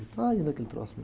Está aí naquele troço.